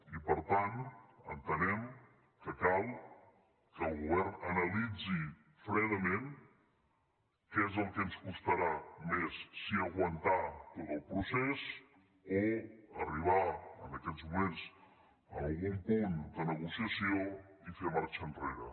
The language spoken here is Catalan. i per tant entenem que cal que el govern analitzi fredament què és el que ens costarà més si aguantar tot el procés o arribar en aquests moments a algun punt de negociació i fer marxa enrere